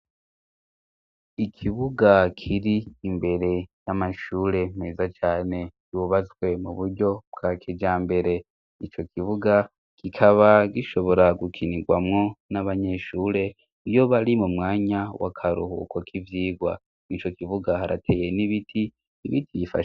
Ikibuga kir'imbere y'amashure meza cane cubatswe mu buryo bwa kijambere. Ico kibuga kikaba gishobora gukinirwamwo n'abanyeshure iyo bari mu mwanya w'akaruhuko k'ivyigwa. ico kibuga harateye n'ibiti...